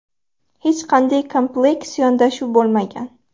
Hech qanday kompleks yondashuv bo‘lmagan.